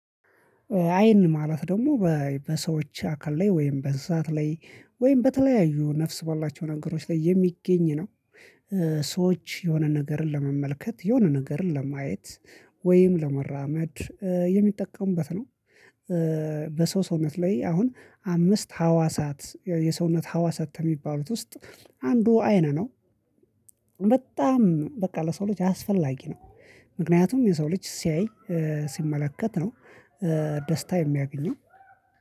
አይን ማለት ደግሞ በ በሰዎች አካል ላይ ወይም በእንስሳት ላይ ወይም በተለያዩ ነፍስ ባላቸው ነገሮች ላይ የሚገኝ ነው። እ ሰዎች የሆነ ነገርን ለመመልከት የሆነ ነገርን ለማየት ወይም ለመራመድ እ የሚጠቀሙበት ነው። እ በሰው ሰውነት ላይ አሁን አምስት ሀዋሳት የሰውነት ሀዋሳት የሚባሉት ውስጥ አንዱ አይን ነው። በጣም በቃ ለሰው ልጅ አስፈላጊ ነው። ምክንያቱም የሰው ልጅ ሲያይ እ ሲመለከት ነው እ ደስታ የሚያገኘው።